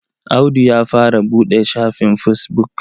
Audu ya fara buɗe shafin fesbuk.